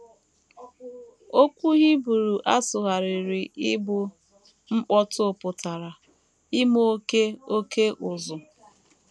Okwu Hibru a sụgharịrị ịbụ “ mkpọtụ ” pụtara ‘ ime oké oké ụzụ. ’